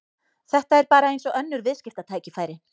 Þetta er bara eins og önnur viðskiptatækifæri.